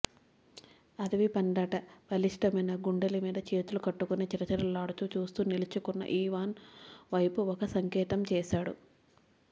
అడవిపందంత బలిష్ఠమైన గుండెల మీద చేతులు కట్టుకుని చిరచిరలాడుతూ చూస్తూ నిలుచున్న ఈవాన్ వైపు ఒక సంకేతం చేశాడు